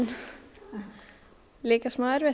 líka smá erfitt